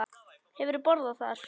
Hefurðu borðað þar?